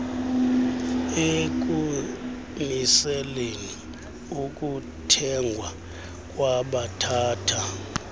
ekumiseleni ukuthengwa kwabathatha